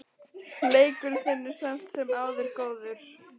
Leikur þinn er samt sem áður góður.